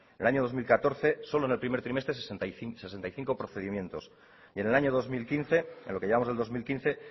en el año dos mil catorce solo en el primer trimestre sesenta y cinco procedimientos y en el año dos mil quince en lo que llevamos del dos mil quince